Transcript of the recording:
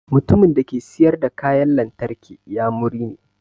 Mutumin dake siƴar da kaƴan lantarki inƴamuri ne.